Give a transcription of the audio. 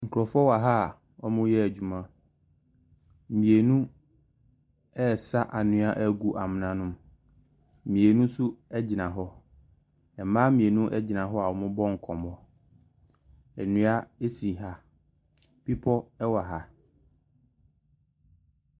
Nkurɔfoɔ wɔ ha wɔreyɛ adwuma, mmienu ɛresa anwea agu amona ne mu, mmienu nso gyina hɔ, mmaa mmienu gyina hɔ a wɔrebɔ nkɔmmɔ. Nnua si ha, bepɔ wɔ ha.